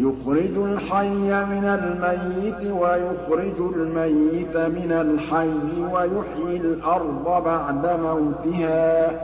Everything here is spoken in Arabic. يُخْرِجُ الْحَيَّ مِنَ الْمَيِّتِ وَيُخْرِجُ الْمَيِّتَ مِنَ الْحَيِّ وَيُحْيِي الْأَرْضَ بَعْدَ مَوْتِهَا ۚ